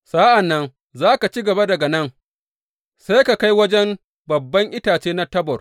Sa’an nan za ka ci gaba daga nan sai ka kai wajen babban itace na Tabor.